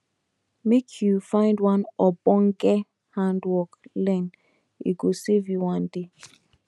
make you find one ogbonge handwork learn e go save you one day